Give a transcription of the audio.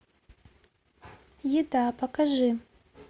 еда покажи